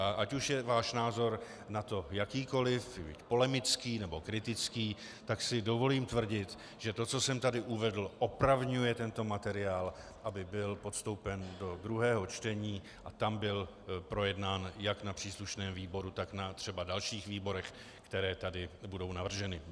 A ať už je váš názor na to jakýkoliv, polemický nebo kritický, tak si dovolím tvrdit, že to, co jsem tady uvedl, opravňuje tento materiál, aby byl podstoupen do druhého čtení a tam byl projednán jak na příslušném výboru, tak na třeba dalších výborech, které tady budou navrženy.